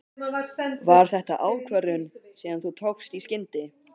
Var þetta ákvörðun sem þú tókst í skyndi?